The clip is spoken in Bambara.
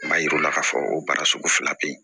N m'a yir'u la k'a fɔ o baara sugu fila bɛ ye